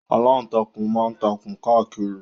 Aláǹtakùn ma ń takùn káàkiri